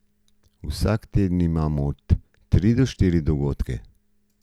Vsak teden imamo od tri do štiri dogodke.